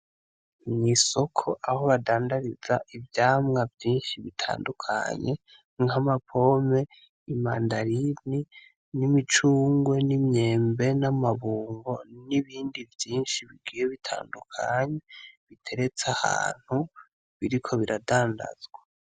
Mw'isoko aho badandariza ivyamwa vyinshi bitandukanye nk'ama pome imandarini, n'imicungwe ,n'imyembe, n'amabungo n'ibindi vyinshi bigiye bitandukanye biteretse ahantu biriko biradandazwa.